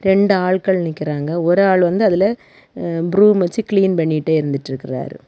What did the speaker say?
ரெண்டு ஆள்கள் நிக்கறாங்க ஒரு ஆள் வந்து அதுல அ ப்ரூம் வெச்சு கிளீன் பண்ணிட்டே இருந்துட்டுருக்காரு.